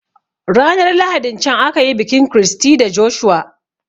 Ranar lahadin can akayi bikin Christy da Joshua